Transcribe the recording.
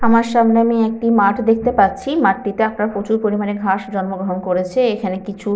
আমার সামনে আমি একটি মাঠ দেখতে পাচ্ছি। মাঠটিতে একটা প্রচুর পরিমাণে ঘাস জন্মগ্রহণ করেছে। এখানে কিছু--